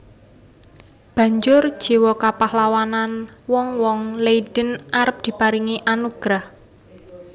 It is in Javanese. Banjur jiwa kapahlawanan wong wong Leiden arep diparingi anugrah